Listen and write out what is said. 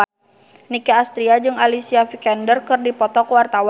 Nicky Astria jeung Alicia Vikander keur dipoto ku wartawan